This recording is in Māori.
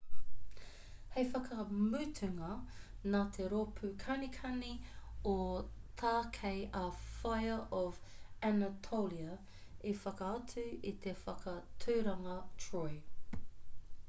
hei whakamutunga nā te rōpū kanikani o tākei a fire of anatolia i whakaatu i te whakaaturanga troy